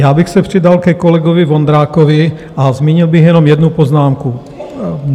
Já bych se přidal ke kolegovi Vondrákovi a zmínil bych jenom jednu poznámku.